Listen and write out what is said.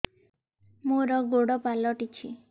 ମୋର ଗୋଡ଼ ପାଲଟିଛି